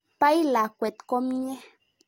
Pai lakwet komnye.